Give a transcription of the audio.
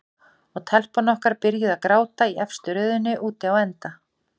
Og telpan okkar byrjuð að gráta í efstu röðinni úti á enda.